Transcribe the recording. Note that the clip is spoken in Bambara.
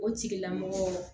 O tigilamɔgɔ